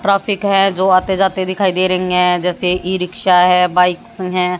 Traffic है जो आते जाते दिखाई दे रही हैं जैसे ई रिक्शा है बाइक्स हैं।